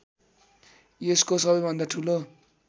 यसको सबैभन्दा ठूलो